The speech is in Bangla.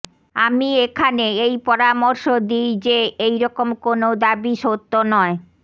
আমি এখানে এই পরামর্শ দিই যে এইরকম কোনও দাবী সত্য নয়